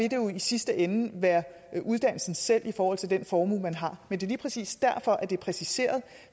jo i sidste ende være uddannelsen selv i forhold til den formue man har men det er lige præcis derfor at det er præciseret